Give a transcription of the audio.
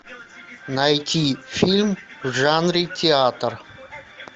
найти фильм в жанре театр